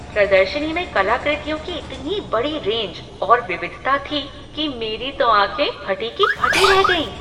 प्रदर्शनी में कलाकृतियों की इतनी बड़ी रेंज और विविधता थी कि मेरी तो आंखें फटी की फटी रह गईं।